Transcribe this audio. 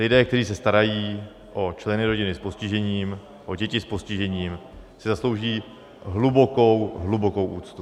Lidé, kteří se starají o členy rodiny s postižením, o děti s postižením, si zaslouží hlubokou, hlubokou úctu.